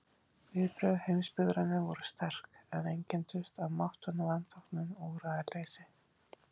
Viðbrögð heimsbyggðarinnar voru sterk, en einkenndust af máttvana vanþóknun og úrræðaleysi.